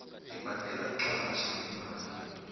ebhadelwa mqatjhi nemali